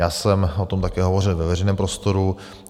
Já jsem o tom také hovořil ve veřejném prostoru.